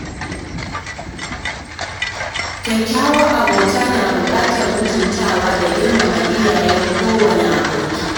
Kyakkyawar abota na buƙatar mutuntawa da girmama iyayen kowane aboki.